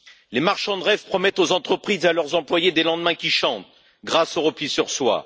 Les marchands de rêve promettent aux entreprises et à leurs employés des lendemains qui chantent, grâce au repli sur soi.